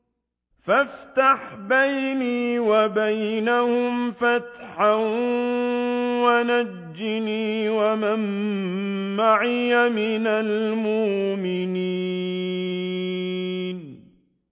فَافْتَحْ بَيْنِي وَبَيْنَهُمْ فَتْحًا وَنَجِّنِي وَمَن مَّعِيَ مِنَ الْمُؤْمِنِينَ